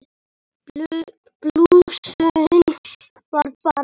Blúsinn varð bara ennþá meiri.